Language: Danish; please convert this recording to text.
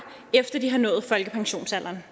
efter at de har nået folkepensionsalderen